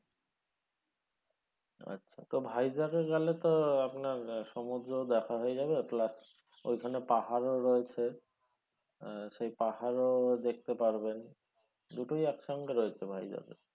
আচ্ছা তো ভাইজ্যাকে গেলে তো আপনার সমুদ্র দেখা হয়ে যাবে plus ওইখানে পাহাড়ও রয়েছে আহ সেই পাহাড়ও দেখতে পারবেন দুটোই একসঙ্গে রয়েছে ভাইজ্যাকে।